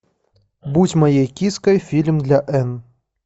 будь моей киской фильм для энн